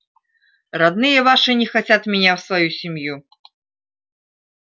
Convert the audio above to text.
родные ваши не хотят меня в свою семью